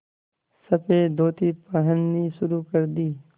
सफ़ेद धोती पहननी शुरू कर दी